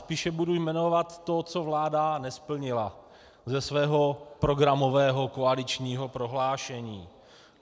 Spíše budu jmenovat to, co vláda nesplnila ze svého programového koaličního prohlášení.